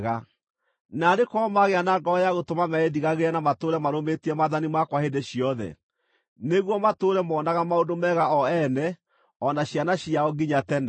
Naarĩ korwo magĩa na ngoro ya gũtũma meĩndigagĩre na matũũre marũmĩtie maathani makwa hĩndĩ ciothe, nĩguo matũũre monaga maũndũ mega o ene o na ciana ciao nginya tene!